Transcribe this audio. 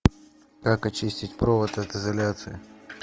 как очистить провод от изоляции